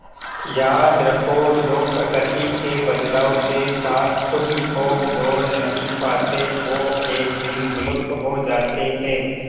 याद रखो जो प्रकृति के बदलाव के साथ खुद को जोड़ नहीं पाते वो एक दिन विलुप्त हो जाते है